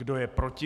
Kdo je proti?